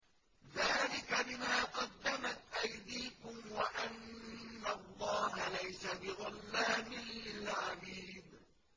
ذَٰلِكَ بِمَا قَدَّمَتْ أَيْدِيكُمْ وَأَنَّ اللَّهَ لَيْسَ بِظَلَّامٍ لِّلْعَبِيدِ